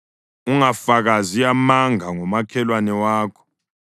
Ungafakazi amanga ngomakhelwane wakho.